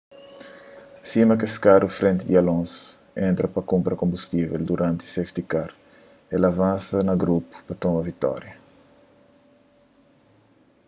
sima kes karu frenti di alonso entra pa kunpra konbustível duranti safety car el avansa na grupu pa toma vitória